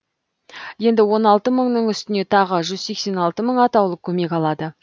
енді он алты мыңның үстіне тағы жүз сексен алты мың атаулы көмек алады